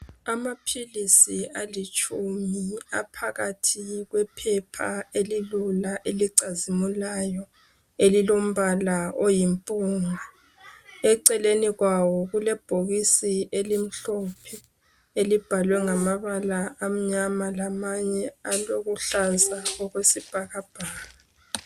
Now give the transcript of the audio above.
amaphilisi alitshuma aphakathi kwephepha elilula elicazimulayo elilompala oyinpunga eceleni kwawo kulebhokisi elibhalwe ngamabala amnyama lamanye alokuhlaza okwesibhakakbhaka